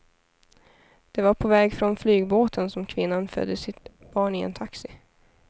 Det var på väg från flygbåten som kvinnan födde sitt barn i en taxi.